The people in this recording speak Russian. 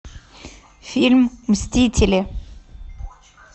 фильм мстители